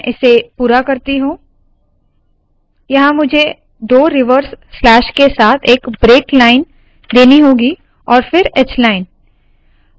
मैं इसे पूरा करती हूँ यहाँ मुझे दो रिवर्स स्लैश के साथ एक ब्रेक लाइन देनी होगी और फिर hline